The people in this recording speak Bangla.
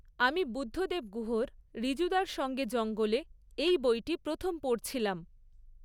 আমি বুদ্ধদেব গুহর ঋজুদার সঙ্গে জঙ্গলে এই বইটি প্রথম পড়ছিলাম